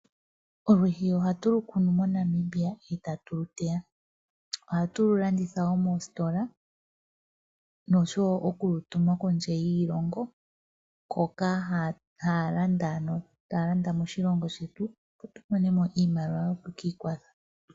Olwiishi ohatu lu kunu moNamibia eta tu lu teya. Ohatu lu landitha wo moositola noshowo oku lu tuma kondje yiilongo hoka haya landa, ano taya landa moshilongo shetu opo tu mone mo iimaliwa yoku ki ikwatha.